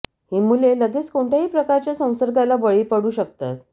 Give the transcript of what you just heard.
ही मुले लगेच कोणत्याही प्रकारच्या संसर्गाला बळी पडू शकतात